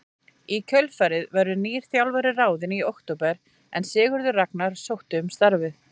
Í kjölfarið verður nýr þjálfari ráðinn í október en Sigurður Ragnar sótti um starfið.